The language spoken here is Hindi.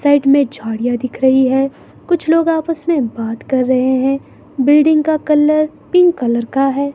साइड में झाड़ियां दिख रही है कुछ लोग आपस में बात कर रहे हैं बिल्डिंग का कलर पिंक कलर का है।